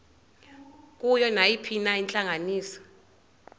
kuyo nayiphina intlanganiso